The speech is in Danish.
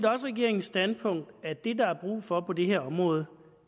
regeringens standpunkt at det der er brug for på det her område